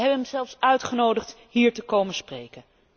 Wij hebben hem zelfs uitgenodigd hier te komen spreken.